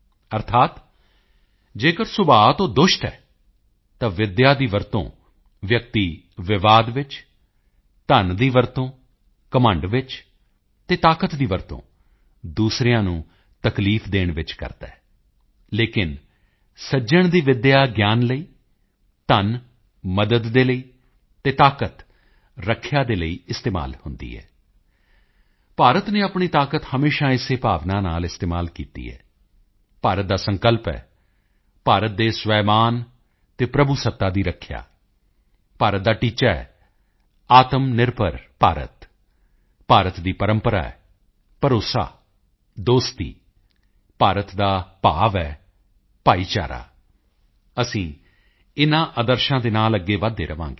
ਅਰਥਾਤ ਅਗਰ ਸੁਭਾਅ ਤੋਂ ਦੁਸ਼ਟ ਹੈ ਤਾਂ ਵਿੱਦਿਆ ਦੀ ਵਰਤੋਂ ਵਿਅਕਤੀਵਿਵਾਦ ਵਿੱਚ ਧਨ ਦੀ ਵਰਤੋਂ ਘਮੰਡ ਵਿੱਚ ਅਤੇ ਤਾਕਤ ਦੀ ਵਰਤੋਂ ਦੂਸਰਿਆਂ ਨੂੰ ਤਕਲੀਫ ਦੇਣ ਵਿੱਚ ਕਰਦਾ ਹੈ ਲੇਕਿਨ ਸੱਜਣ ਦੀ ਵਿੱਦਿਆ ਗਿਆਨ ਲਈ ਧਨ ਮਦਦ ਦੇ ਲਈ ਅਤੇ ਤਾਕਤ ਰੱਖਿਆ ਦੇ ਲਈ ਇਸਤੇਮਾਲ ਹੁੰਦੀ ਹੈ ਭਾਰਤ ਨੇ ਆਪਣੀ ਤਾਕਤ ਹਮੇਸ਼ਾ ਇਸੇ ਭਾਵਨਾ ਨਾਲ ਇਸਤੇਮਾਲ ਕੀਤੀ ਹੈ ਭਾਰਤ ਦਾ ਸੰਕਲਪ ਹੈ ਭਾਰਤ ਦੇ ਸਵੈਮਾਣ ਅਤੇ ਪ੍ਰਭੂਸੱਤਾ ਦੀ ਰੱਖਿਆ ਭਾਰਤ ਦਾ ਟੀਚਾ ਹੈ ਆਤਮਨਿਰਭਰ ਭਾਰਤ ਭਾਰਤ ਦੀ ਪਰੰਪਰਾ ਹੈ ਭਰੋਸਾ ਦੋਸਤੀ ਭਾਰਤ ਦਾ ਭਾਵ ਹੈ ਭਾਈਚਾਰਾ ਅਸੀਂ ਇਨ੍ਹਾਂ ਆਦਰਸ਼ਾਂ ਦੇ ਨਾਲ ਅੱਗੇ ਵਧਦੇ ਰਹਾਂਗੇ